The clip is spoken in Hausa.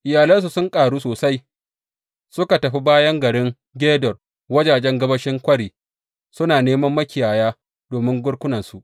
Iyalansu sun ƙaru sosai, suka tafi bayan garin Gedor wajajen gabashin kwari suna neman makiyaya domin garkunansu.